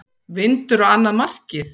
Vindur á annað markið.